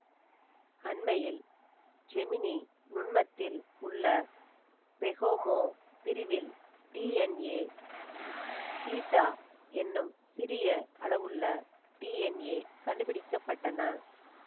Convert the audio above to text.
அண்மையில் செமினி நுண்மத்தில் உள்ள பெகோமோ பிரிவில் டிஎன்ஏ பீட்டா என்னும் சிறிய அளவுள்ள டிஎன்ஏ கண்டுபிடிக்க பட்டன